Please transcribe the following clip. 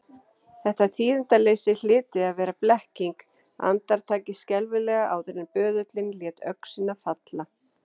Þetta tíðindaleysi hlyti að vera blekking, andartakið skelfilega áður en böðullinn léti öxina falla.